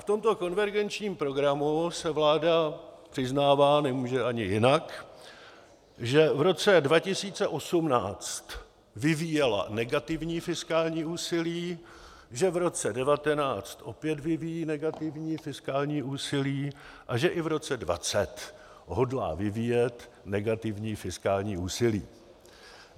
V tomto konvergenčním programu se vláda přiznává, nemůže ani jinak, že v roce 2018 vyvíjela negativní fiskální úsilí, že v roce 2019 opět vyvíjí negativní fiskální úsilí a že i v roce 2020 hodlá vyvíjet negativní fiskální úsilí.